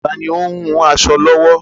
Taàní ó ń hun aṣọ lọ́wọ́?